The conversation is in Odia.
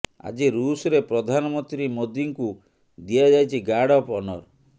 ଆଜି ଋଷରେ ପ୍ରଧାନମନ୍ତ୍ରୀ ମୋଦିଙ୍କୁ ଦିଆଯାଇଛି ଗାର୍ଡ ଅଫ ଅନର